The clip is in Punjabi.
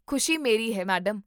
ਖੁਸ਼ੀ ਮੇਰੀ ਹੈ, ਮੈਡਮ